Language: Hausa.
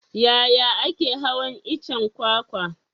Yaya ake hawan iccen kwakwa?